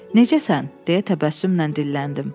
Necəsən deyə təbəssümlə dilləndim.